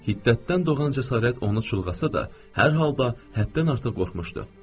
Hiddətdən doğan cəsarət onu çulğasa da, hər halda həddən artıq qorxmuşdu.